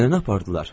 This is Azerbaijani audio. Nənəni apardılar.